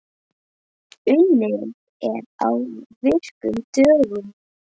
Unnið er á virkum dögum.